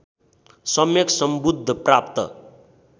सम्यक् सम्बुद्ध प्राप्त